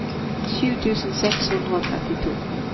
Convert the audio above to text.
sju tusen seks hundre og trettito